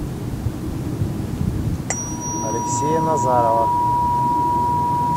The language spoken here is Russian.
алексея назарова